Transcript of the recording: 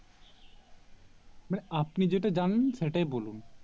মানে আপনি যেটা জানুন সেটাই বলুন